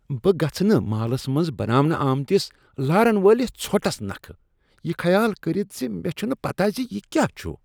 بہٕ گژھہٕ نہٕ مالس منز بناونہٕ آمٕتِس لار ن وٲلِس ژھۄٹس نكھہٕ یہ خیال کٔرتھ ز مےٚ چھنہٕ پتہ ز یہ کیا چھٗ ۔